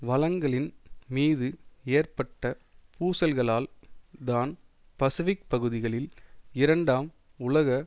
வளங்களின் மீது ஏற்பட்ட பூசல்களால் தான் பசிபிக் பகுதிகளில் இரண்டாம் உலக